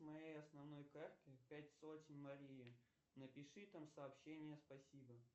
моей основной карты пять сотен марии напиши там сообщение спасибо